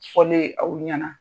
Sɔli aw ɲɛna